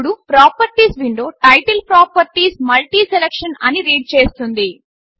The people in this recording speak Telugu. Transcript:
ఇప్పుడు properties window title properties multiselection అని రీడ్ చేస్తుంది